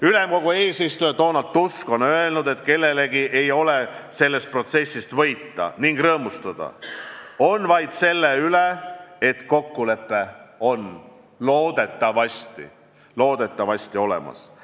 Ülemkogu eesistuja Donald Tusk on öelnud, et kellelgi ei ole sellest protsessist võita ning rõõmustada saab vaid selle üle, et kokkulepe on loodetavasti – loodetavasti!